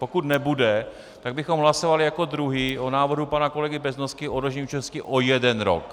Pokud nebude, tak bychom hlasovali jako druhý o návrhu pana kolegy Beznosky o odložení účinnosti o jeden rok.